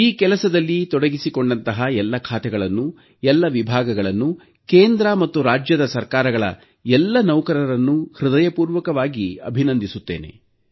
ಈ ಕೆಲಸದಲ್ಲಿ ತೊಡಗಿಸಿಕೊಂಡಂತಹ ಎಲ್ಲ ಖಾತೆಗಳನ್ನು ಎಲ್ಲ ವಿಭಾಗಗಳನ್ನು ಕೇಂದ್ರ ಮತ್ತು ರಾಜ್ಯದ ಸರ್ಕಾರಗಳ ಎಲ್ಲ ನೌಕರರನ್ನೂ ಹೃದಯಪೂರ್ವಕವಾಗಿ ಅಭಿನಂದಿಸುತ್ತೇನೆ